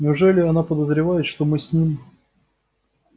неужели она подозревает что мы с ним